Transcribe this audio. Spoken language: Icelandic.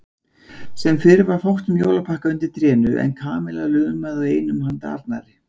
Sem fyrr var fátt um jólapakka undir trénu en Kamilla lumaði á einum handa Arnari.